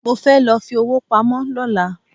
Mo fẹ́ lọ fi owó pamọ́ lọ́la